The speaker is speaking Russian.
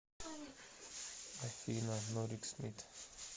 афина нурик смит